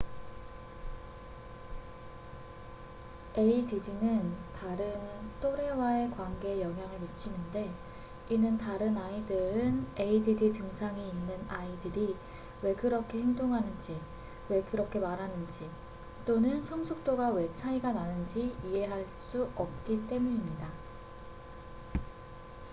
add는 다른 또래와의 관계에 영향을 미치는데 이는 다른 아이들은 add 증상이 있는 아이들이 왜 그렇게 행동하는지 왜 그렇게 말하는지 또는 성숙도가 왜 차이가 나는지 이해할 수 없기 때문입니다